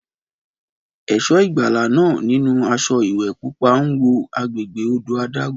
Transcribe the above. Ẹ̀ṣọ́ ìgbàlà náà, nínú aṣọ ìwẹ̀ pupa, ń wo agbègbè odò adágún.